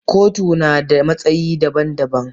Kotuna na da matsayi daban-daban.